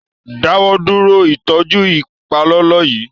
Dáwọ dúró ìtọjú ipalọlọ yí!